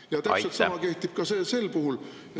Ja täpselt sama kehtib sel puhul.